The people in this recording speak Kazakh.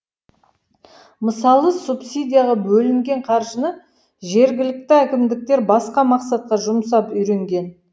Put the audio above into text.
мысалы субсидияға бөлінген қаржыны жергілікті әкімдіктер басқа мақсатқа жұмсап үйренген